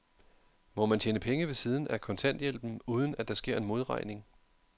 Må man tjene penge ved siden af kontanthjælpen, uden at der sker en modregning?